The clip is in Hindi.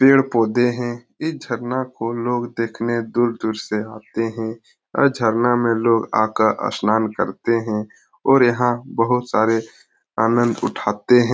पेड़-पौधे हैं ई झरना को लोग देखने दूर-दूर से आते हैं और झरना में लोग आकर स्नान करते हैं और यहाँ बहुत सारे आनंद उठाते हैं।